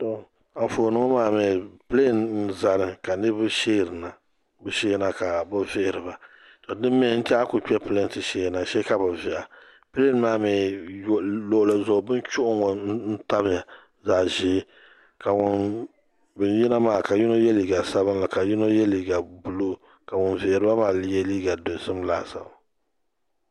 anƒuuni ŋɔ maa ni pilɛni zani kaniriba shɛrina ka bɛ vihiriba din mi a ku kpi pilini n ti zani shɛ kabi vihiha pilin maa mi luɣ'li zuɣu bɛni chuɣu n ŋɔ tamiya. zaɣ' ʒiɛ ka ŋun yina maa yino yɛ liga sabilinli ka yino yɛ liga tankpaɣu ka pun vihiri maa yɛ dozim